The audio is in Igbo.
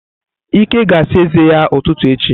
Ike ga ásà eze ya ututu echi.